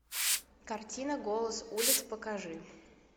картина голос улиц покажи